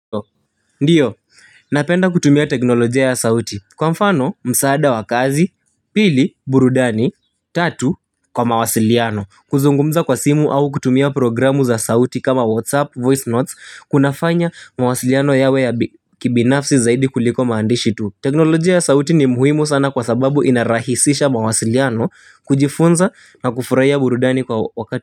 Ndiyo. Napenda kutumia teknolojia ya sauti. Kwa mfano msaada wa kazi pili burudani tatu kwa mawasiliano. Kuzungumza kwa simu au kutumia programu za sauti kama whatsapp voice notes kunafanya mawasiliano yawe ya kibinafsi zaidi kuliko maandishi tu. Teknolojia ya sauti ni muhimu sana kwa sababu inarahisisha mawasiliano kujifunza na kufurahia burudani kwa wakati.